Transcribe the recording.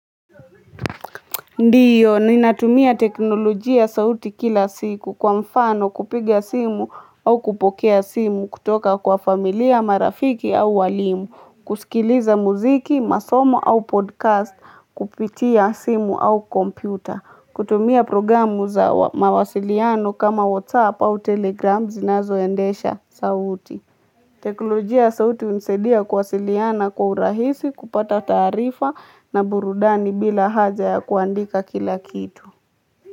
Ndiyo, ninatumia teknolojia sauti kila siku, kwa mfano kupiga simu au kupokea simu, kutoka kwa familia, marafiki, au walimu. Kusikiliza muziki, masomo au podcast, kupitia simu au kompyuta. Kutumia programu za mawasiliano, kama Whatsapp au Telegram, zinazoendesha sauti teknolojia ya sauti hunisadia kuwasiliana kwa urahisi, kupata taarifa, na burudani bila haja ya kuandika kila kitu.